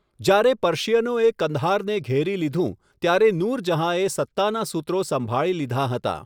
જ્યારે પર્શિયનોએ કંદહારને ઘેરી લીધું, ત્યારે નૂરજહાંએ સત્તાનાં સુત્રો સંભાળી લીધાં હતાં.